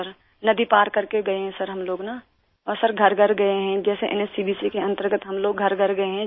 सिर नदी पार कर के गए हैं हम लोग न और सिर घरघर गए हैं जैसे एनएचसीवीसी के अंतर्गत हम लोग घरघर गए हैं